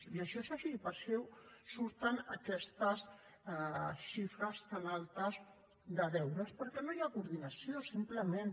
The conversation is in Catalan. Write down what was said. i això és així per això surten aquestes xifres tan altes de deures perquè no hi ha coordinació simplement